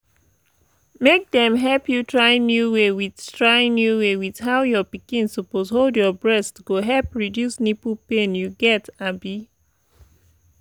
make dem help you trynew way with trynew way with how your pikin suppose hold your breast go help reduce nipple pain you get abi